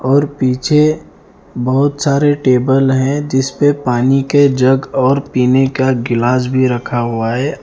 और पीछे बहुत सारे टेबल हैं जिस पे पानी के जग और पीने का गिलास भी रखा हुआ है।